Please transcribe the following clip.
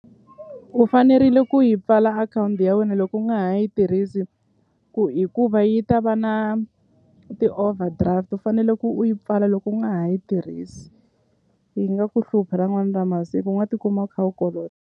U fanerile ku yi pfala akhawunti ya wena loko u nga ha yi tirhisi hikuva yi ta va na ti-overdraft u fanele ku u yi pfala loko u nga ha yi tirhisi yi nga ku hlupha ra n'wana ra masiku u nga tikuma u kha u kolota.